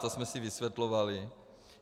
To jsme si vysvětlovali.